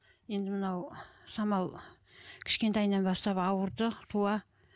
енді мынау самал кішкентайынан бастап ауырды туа